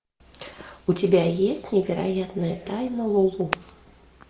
у тебя есть невероятная тайна лулу